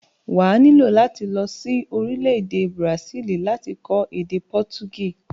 Wà á nílò láti lọ sí orílẹ̀-èdè bùràsílì láti kọ́ èdè pọtugísì.